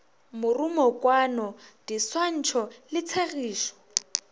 morumokwano di swantšho le tshegišo